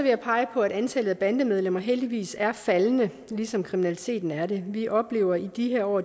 jeg pege på at antallet af bandemedlemmer heldigvis er faldende ligesom kriminaliteten er det vi oplever i de her år